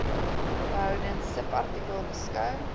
behoudens subartikel beskou